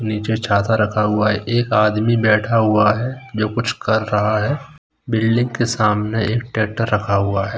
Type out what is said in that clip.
नीचे छता रखा हुआ है एक आदमी बैठा हुआ है जो कुछ कर रहा है बिल्डिंग के सामने एक टैक्टर रखा हुआ है।